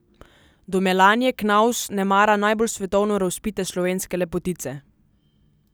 Do Melanije Knavs nemara najbolj svetovno razvpite slovenske lepotice.